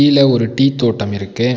கீழ ஒரு டீ தோட்டம் இருக்கு.